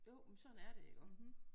Jo men sådan er det iggå